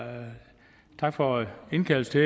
og tak for indkaldelsen